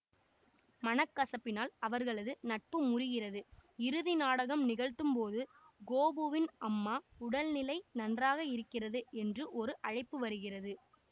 மனக்கசப்பினால் அவர்களது நட்பு முறிகிறது இறுதி நாடகம் நிகழ்த்தும் போது கோபுவின் அம்மா உடல்நிலை நன்றாக இருக்கிறது என்று ஒரு அழைப்பு வருகிறது